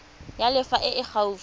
ya lefapha e e gaufi